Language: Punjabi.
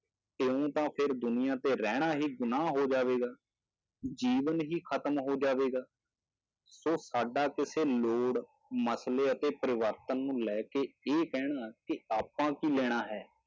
ਇਉਂ ਤਾਂ ਫਿਰ ਦੁਨੀਆਂ ਤੇ ਰਹਿਣਾ ਹੀ ਗੁਨਾਂਹ ਹੋ ਜਾਵੇਗਾ, ਜੀਵਨ ਹੀ ਖ਼ਤਮ ਹੋ ਜਾਵੇਗਾ, ਸੋ ਸਾਡਾ ਕਿਸੇ ਲੋੜ, ਮਸਲੇ ਅਤੇ ਪਰਿਵਰਤਨ ਨੂੰ ਲੈ ਕੇ ਇਹ ਕਹਿਣਾ ਕਿ ਆਪਾਂ ਕੀ ਲੈਣਾ ਹੈ,